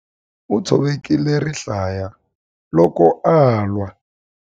U tshovekile rihlaya loko a lwa.